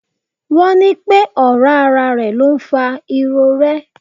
Wọ́n ní pẹ́ ọ̀rá ara ló ń fa irorẹ́.